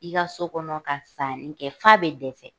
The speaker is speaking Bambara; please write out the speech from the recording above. I ka so kɔnɔ ka sanni kɛ f'a bɛ dɛsɛ.